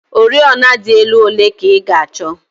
Oriọna dị elu ole ka ị ga-achọ?